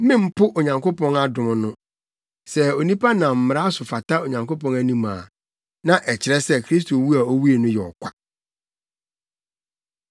Mempo Onyankopɔn adom no. Sɛ onipa nam Mmara so fata Onyankopɔn anim a, na ɛkyerɛ sɛ Kristo wu a owui no yɛ ɔkwa.”